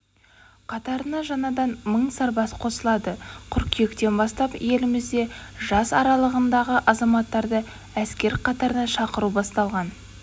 қатарына жаңадан мың сарбаз қосылады қыркүйектен бастап елімізде жас аралығындағы азаматтарды әскер қатарына шақыру басталған